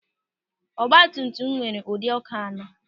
Ọgbatumtum m nwere ụdịdị ọ́kụ́ anọ.